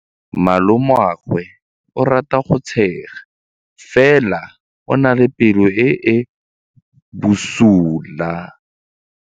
Malomagwe o rata go tshega fela o na le pelo e e bosula.